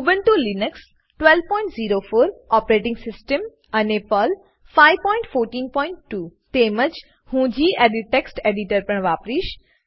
Ubuntu Linux 1204 operating system અને Perl 5142 તેમજ હું ગેડિટ ટેક્સ્ટ એડીટર પણ વાપરીશ